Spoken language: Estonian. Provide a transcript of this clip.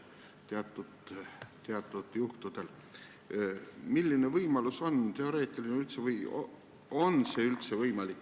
Milline teoreetiline võimalus on – on see üldse võimalik?